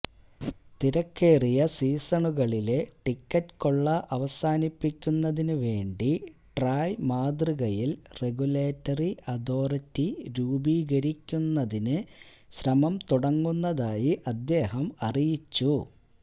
തിരക്കേറിയ സീസണുകളിലെ ടിക്കറ്റ് കൊള്ള അവസാനിപ്പിക്കുന്നതിന് വേണ്ടി ട്രായ് മാതൃകയിൽ റെഗുലേറ്ററി അതോറിറ്റി രൂപീകരിക്കുന്നതിന് ശ്രമം തുടങ്ങുന്നതായി അദ്ദേഹം അറിയിച്ചു